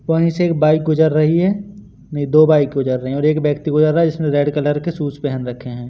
वही से एक बाइक गुजर रही है नहीं दो बाइक गुजर रहे हैं और एक व्यक्ति गुजर रहा जिसने रेड कलर के शूज़ पहन रखे हैं।